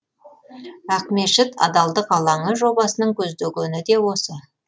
ақмешіт адалдық алаңы жобасының көздегені де осы